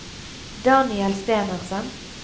Daniel Stenersen